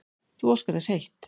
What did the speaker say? Þú óskar þess of heitt